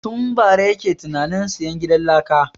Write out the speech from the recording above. Tun bara yake ta tunanin sayan gidan laka